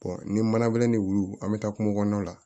ni manabɛlɛ ni wulu an bɛ taa kungo kɔnɔnaw la